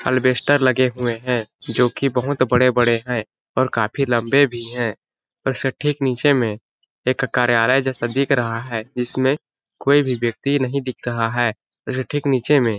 अलबेस्टर लगे हुए है जो कि बहुत बड़े-बड़े है और काफी लम्बे भी है और उसके ठीक नीचे में एक कार्यालय जैसा दिख रहा है इसमें कोई भी व्यक्ति नहीं देख रहा है और उसके ठीक नीचे में--